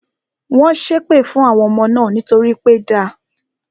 Wọ́n ṣé èpè fún àwọn ọmọ náà nítorí pé da